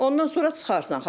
Ondan sonra çıxarsan xala.